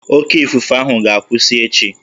Oké ifufe ahụ ga-akwụsị echi